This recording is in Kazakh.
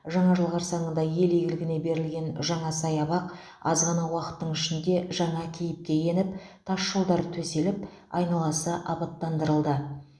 жаңа жыл қарсаңында ел игіліне берілген жаңа саябақ аз ғана уақыттың ішінде жаңа кейіпке еніп тасжолдар төселіп айналасы абаттандырылды